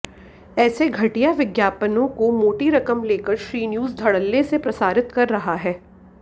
ऐसे घटिया विज्ञापनों को मोटी रकम लेकर श्रीन्यूज धड़ल्ले से प्रसारित कर रहा है